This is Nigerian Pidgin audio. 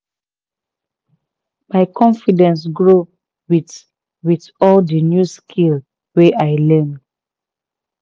my confidence grow with with all the new skill wey i learn